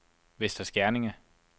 Vester Skerning